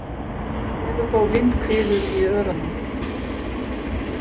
Enn eru þó vindhviður í Öræfunum